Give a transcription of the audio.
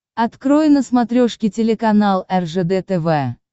открой на смотрешке телеканал ржд тв